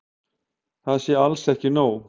Það sé alls ekki nóg.